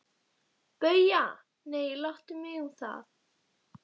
BAUJA: Nei, láttu mig um það.